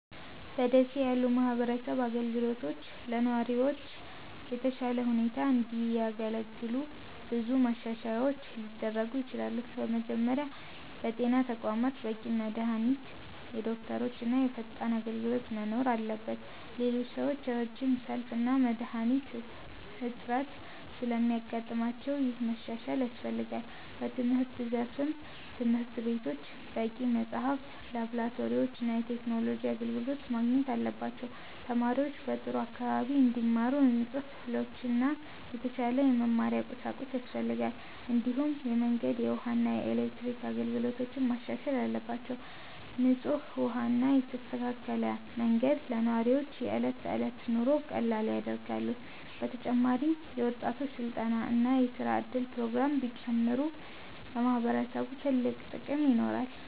በ ደሴ ያሉ የማህበረሰብ አገልግሎቶች ለነዋሪዎች በተሻለ ሁኔታ እንዲያገለግሉ ብዙ ማሻሻያዎች ሊደረጉ ይችላሉ። በመጀመሪያ በጤና ተቋማት በቂ መድሃኒት፣ ዶክተሮች እና ፈጣን አገልግሎት መኖር አለበት። ብዙ ሰዎች ረጅም ሰልፍ እና የመድሃኒት እጥረት ስለሚያጋጥማቸው ይህ መሻሻል ያስፈልጋል። በትምህርት ዘርፍም ትምህርት ቤቶች በቂ መጽሐፍት፣ ላብራቶሪዎች እና የቴክኖሎጂ አገልግሎት ማግኘት አለባቸው። ተማሪዎች በጥሩ አካባቢ እንዲማሩ ንጹህ ክፍሎችና የተሻለ የመማሪያ ቁሳቁስ ያስፈልጋል። እንዲሁም የመንገድ፣ የውሃ እና የኤሌክትሪክ አገልግሎቶች መሻሻል አለባቸው። ንጹህ ውሃ እና የተስተካከለ መንገድ ለነዋሪዎች የዕለት ተዕለት ኑሮን ቀላል ያደርጋሉ። በተጨማሪም የወጣቶች ስልጠና እና የስራ እድል ፕሮግራሞች ቢጨምሩ ለማህበረሰቡ ትልቅ ጥቅም ይኖራል።